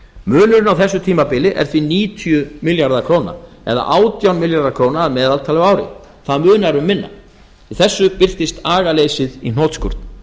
munurinn á þessu tímabili er því níutíu milljarðar króna eða átján milljarðar króna að meðaltali á ári það munar um minna í þessu birtist agaleysið í hnotskurn